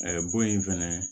bon in fɛnɛ